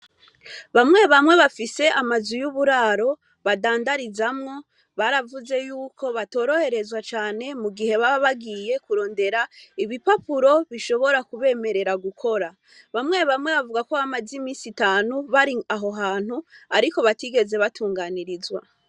Bamwe bamwe bafise amazu y' uburaro badandarizamwo, baravuze yuko batoroherezwa cane mu gihe baba bagiye kurondera ibipapuro bishobora kubemerera gukora. Bamwe bamwe bavuga ko bamaze iminsi itanu bari aho hantu ariko batigeze batunganirizwa.